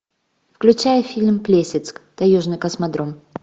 включай фильм плесецк таежный космодром